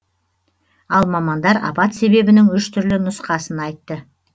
ал мамандар апат себебінің үш түрлі нұсқасын айтты